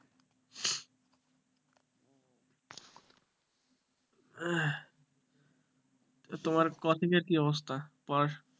তোমার coaching এর কি অবস্থা